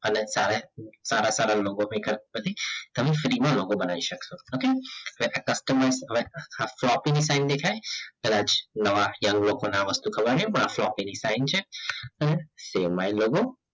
તારા તારા logo તમે free માં logo બનાઈ સકસો okay customize shopy ની sign દેખાઈ પેહલા નવા young લોકો ના વસ્તુ ખબર નૈ પણ આ shoppy ની sign છે અને save my logo